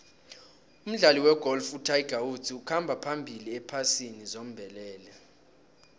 umdlali wegolf utiger woods ukhamba phambili ephasini zombelele